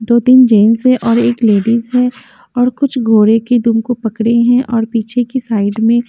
दो तीन जेंस है और एक लेडीज है और घोड़े के दुम को पकड़े है और पीछे के साइड में --